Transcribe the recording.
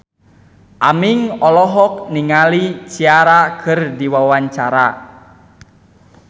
Aming olohok ningali Ciara keur diwawancara